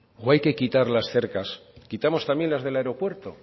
o hay que quitar las cercas quitamos también las del aeropuerto